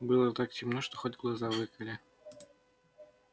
было так темно что хоть глаза выколи